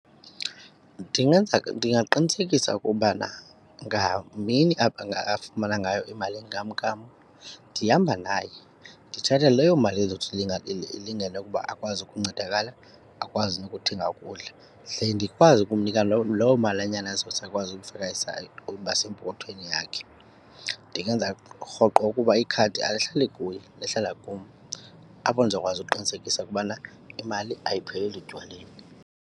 Ndingenza ndingaqinisekisa ukubana ngamini afumana ngayo imali yenkamnkam ndihamba naye. Ndithatha leyo mali ezothi ilingane ukuba akwazi ukuncedakala akwazi nokuthenga ukudla, ze ndikwazi ukumnika lowo loo malanyana ezothi akwazi ukufaka aside, uba sempokothweni yakhe. Ndingenza rhoqo ukuba ikhadi alihlali kuye, lihlala kum apho ndizokwazi ukuqinisekisa ukubana imali ayipheleli etywaleni.